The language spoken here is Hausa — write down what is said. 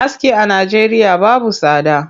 Aski a Najeriya babu tsada.